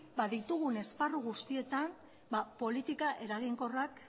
ditugun esparru guztietan politikak eraginkorrak